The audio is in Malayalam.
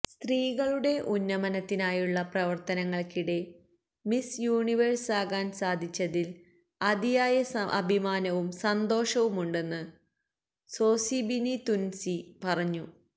സ്ത്രീകളുടെ ഉന്നമനത്തിനായുള്ള പ്രവർത്തനങ്ങൾക്കിടെ മിസ് യൂണിവേഴ്സ് ആകാൻ സാധിച്ചതിൽ അതിയായ അഭിമാനവും സന്തോഷവുമുണ്ടെന്ന് സോസിബിനി തുൻസി പറഞ്ഞു